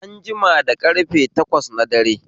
An jima da karfe takwas na dare